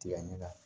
Tigɛ ɲɛ la